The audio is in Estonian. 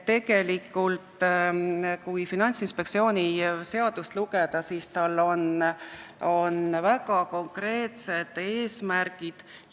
Kui Finantsinspektsiooni seadust lugeda, siis on seal näha väga konkreetsed eesmärgid.